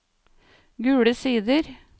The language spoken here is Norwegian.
Gule Sider